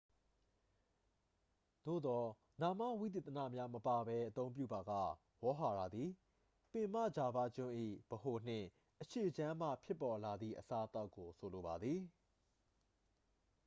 သို့သော် နာမဝိသေသနများ မပါဘဲ အသုံးပြုပါက ဝေါဟာရသည် ပင်မဂျာဗားကျွန်း၏ ဗဟိုနှင့် အရှေ့ခြမ်းမှ ဖြစ်ပေါ်လာသည့် အစားအသောက်ကို ဆိုလိုပါသည်